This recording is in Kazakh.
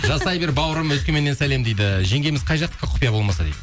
жасай бер бауырым өскеменнен сәлем дейді жеңгеміз қай жақтікі құпия болмаса дейді